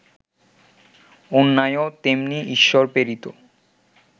অন্যায়ও তেমনি ঈশ্বরপ্রেরিত